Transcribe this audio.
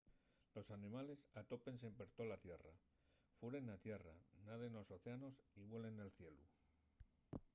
los animales atópense per tola tierra furen na tierra naden nos océanos y vuelen nel cielu